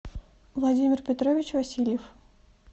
владимир петрович васильев